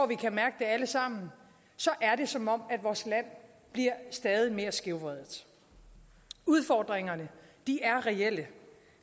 vi kan mærke det alle sammen er det som om vores land bliver stadig mere skævvredet udfordringerne er reelle